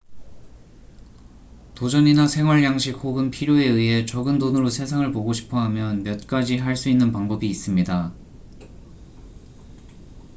도전이나 생활양식 혹은 필요에 의해 적은 돈으로 세상을 보고 싶어 하면 몇 가지 할 수 있는 방법이 있습니다